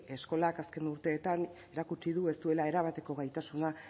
eskolak azken urteetan erakutsi du ez duela erabateko gaitasuna